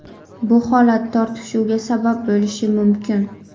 Bu holat tortishuvga sabab bo‘lishi mumkin.